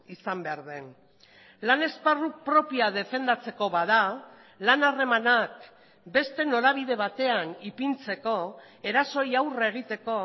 izan behar den lan esparru propioa defendatzeko bada lan harremanak beste norabide batean ipintzeko erasoei aurre egiteko